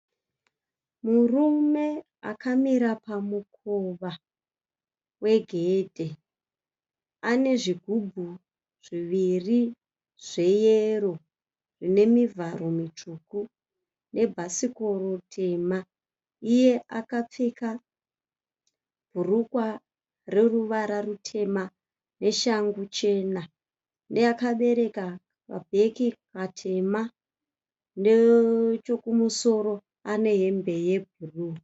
Murume akamira pamukova wegedhe. Ane zvigubhu zviviri zveyero zvine mivharo mitsvuku nebhasikiro tema. Iye akapfeka bhurukwa reruvara rutema neshangu chena. Akabereka mabhegi matema nechokumusoro ane hembe yebhuruwu.